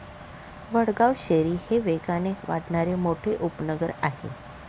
वडगाव शेरी हे वेगाने वाढणारे मोठे उपनगर आहे.